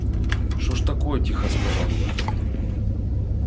что же такое тихо сказал я